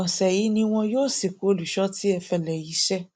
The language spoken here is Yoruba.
ọsẹ yìí ni wọn yóò sìnkú olùṣọ tí ẹfẹlẹiṣẹ